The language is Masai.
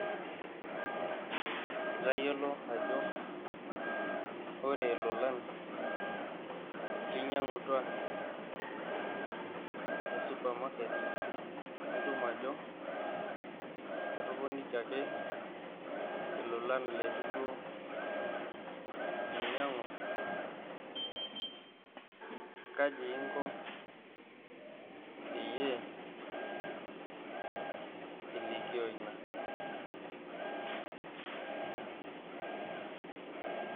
Itayiolo ajo ore ilolan linyang`wa te supamaket nitum ajo kitoponikiaki ilolan leitu duo inyangu ,kaji inko peyie ilikio ena ?